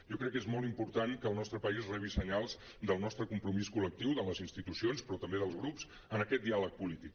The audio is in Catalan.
jo crec que és molt important que el nostre país rebi senyals del nostre compromís col·lectiu de les institucions però també dels grups en aquest diàleg polític